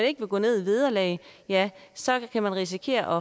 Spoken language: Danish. ikke vil gå ned i vederlag ja så kan den risikere